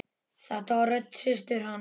Þetta var rödd systur hans.